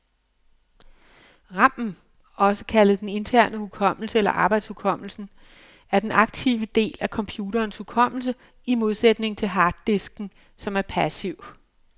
Ramen, også kaldet den interne hukommelse eller arbejdshukommelsen, er den aktive del af computerens hukommelse, i modsætning til harddisken, som er passiv.